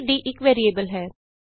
ਇਥੇ d ਇਕ variable ਹੈ